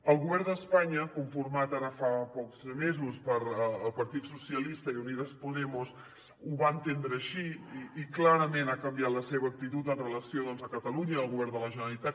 el govern d’espanya conformat ara fa pocs mesos pel partit socialista i unidas podemos ho va entendre així i clarament ha canviat la seva actitud amb relació doncs a catalunya al govern de la generalitat